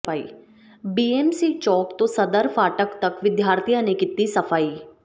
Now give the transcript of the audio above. BMC ਚੌਕ ਤੋਂ ਸਦਰ ਫਾਟਕ ਤਕ ਵਿਦਿਆਰਥੀਆਂ ਨੇ ਕੀਤੀ ਸਫ਼ਾਈ